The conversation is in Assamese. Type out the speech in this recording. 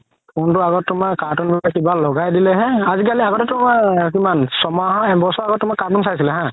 phone তো আগত তুমাৰ cartoon ৰাখিবা লগাই দিলে হে আজিকালি আগতেতো আ কিমান চহমান এবছৰ আগত তুমাৰ cartoon চাইছিলে হা